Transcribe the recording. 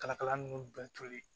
Kala kala ninnu bɛɛ toli